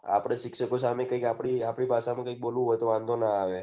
શિક્ષકો સામે આપડી સામે કાઈક બોલવું હોય તો કઈ વાંઘો ન આવે